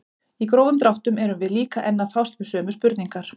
Í grófum dráttum erum við líka enn að fást við sömu spurningar.